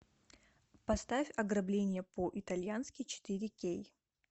поставь ограбление по итальянски четыре кей